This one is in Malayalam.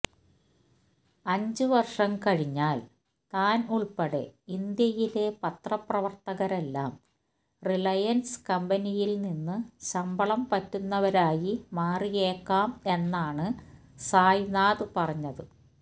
അഞ്ചു വര്ഷം കഴിഞ്ഞാല് താന് ഉള്പ്പെടെ ഇന്ത്യയിലെ പത്രപ്രവര്ത്തകരെല്ലാം റിലയന്സ് കമ്പനിയില്നിന്നു ശമ്പളം പറ്റുന്നവരായി മാറിയേക്കാം എന്നാണ് സായ്നാഥ് പറഞ്ഞത്